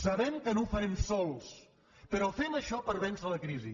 sabem que no ho farem sols però fem això per vèncer la crisi